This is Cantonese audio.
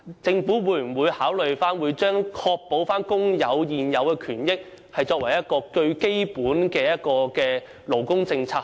政府會否考慮以確保工人現有權益作為最基本的勞工政策？